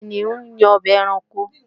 Kìnìún ni ọba ẹranko